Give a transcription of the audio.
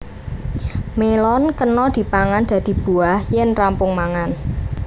Mélon kena dipangan dadi buah yén rampung mangan